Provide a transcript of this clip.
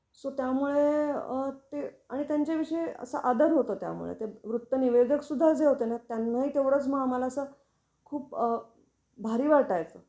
So त्यामुळे अ ते आणि त्यांच्या विषयी असा आदर होता त्यामुळे. तर ते वृत्तनिवेदक सुद्धा जे होतेना त्यांनाही तेवढच मग आम्हाला अस खूप अ भारी वाटायच.